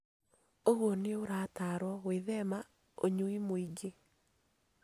Ũguo nĩ ũrataarwo gwĩthema ũnyui mwingĩ.